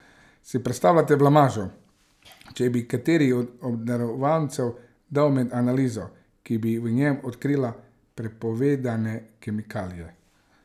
Si predstavljate blamažo, če bi kateri od obdarovancev dal med na analizo, ki bi v njem odkrila prepovedane kemikalije?